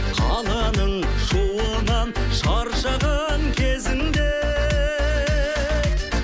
қаланың шуынан шаршаған кезіңде